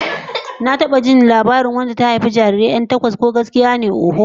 Na taba jin labarin wacce ta haifi jarirai 'yan takwas, ko gaskiya ne hakan zai yiwu, oho.